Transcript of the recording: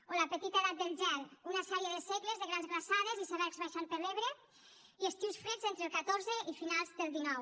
o la petita edat del gel una sèrie de segles de grans glaçades icebergs baixant per l’ebre i estius freds entre el xiv i finals del xix